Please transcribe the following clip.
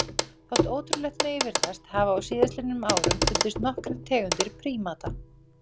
Þótt ótrúlegt megi virðast hafa á síðastliðnum árum fundist nokkrar nýjar tegundir prímata.